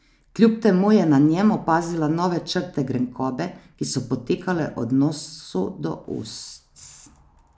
Kljub temu je na njem opazila nove črte grenkobe, ki so potekale od nosu do ust.